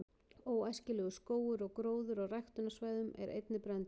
„óæskilegur“ skógur og gróður á ræktunarsvæðum er einnig brenndur